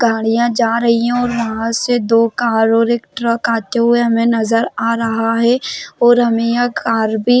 गाड़ियां जा रही है और वहा से दो कार और एक ट्रक आते हुए हमे नज़र आ रहा है और हमे यह कार भी--